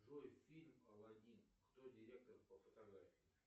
джой фильм аладдин кто директор по фотографии